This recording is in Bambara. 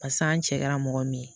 Pasa an cɛ kɛra mɔgɔ min ye